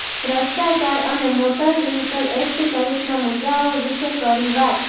ભ્રષ્ટાચાર અને motor vehicle act સહિતના મુદ્દાઓ વિશે કરી વાત